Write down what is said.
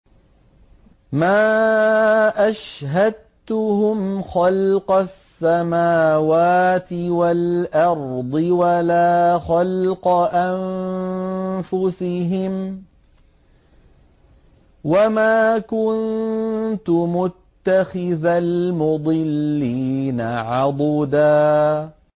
۞ مَّا أَشْهَدتُّهُمْ خَلْقَ السَّمَاوَاتِ وَالْأَرْضِ وَلَا خَلْقَ أَنفُسِهِمْ وَمَا كُنتُ مُتَّخِذَ الْمُضِلِّينَ عَضُدًا